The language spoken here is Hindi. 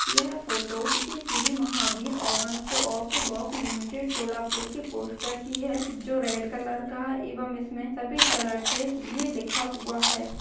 यह फोटो किसी Shri Mahavir urban co op bank limited Solapur की पोस्टर की है जो रेड कलर का है एवं इसमें सफेद कलर से ये लिखा हुआ है।